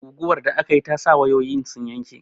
Guguwar da akayi ta sa wayoyin sun tsinke